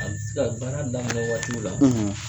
A bɛ se ka baara daminɛ waatiw la